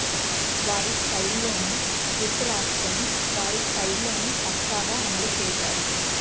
వారి స్టైల్ లోనే స్క్రిప్ట్ రాసుకొని వారి స్టైల్ లోనే పక్కాగా అమలు చేశారు